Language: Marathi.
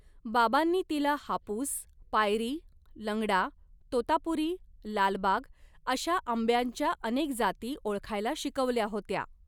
बाबांनी तिला हापूस, पायरी, लंगडा, तोतापुरी, लालबाग, अशा आंब्यांच्या अनेक जाती ओळखायला शिकवल्या होत्या.